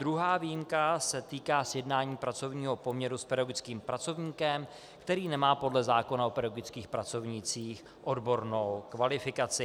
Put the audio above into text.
Druhá výjimka se týká sjednání pracovního poměru s pedagogickým pracovníkem, který nemá podle zákona o pedagogických pracovnících odbornou kvalifikaci.